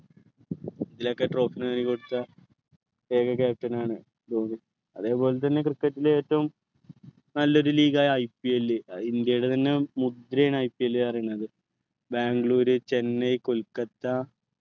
ഇതിലോക്കെ trophy നേടിക്കൊടുത്ത ഏക captain ആണ് ധോണി അതേപോലെതന്നെ cricket ലെ ഏറ്റവും നല്ലൊരു league ആയ IPL ആഹ് ഇന്ത്യയുടെ തന്നെ മുദ്രയാണ് IPL പറയന്നത് ബാംഗ്ലൂർ ചെന്നൈ കൊൽക്കത്ത